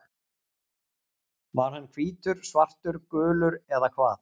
Var hann hvítur, svartur, gulur eða hvað?